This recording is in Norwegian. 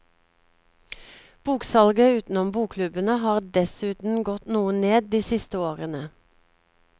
Boksalget utenom bokklubbene har dessuten gått noe ned de siste årene.